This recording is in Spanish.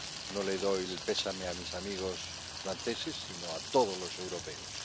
No le doy el pésame a mis amigos franceses, sino a todos los europeos.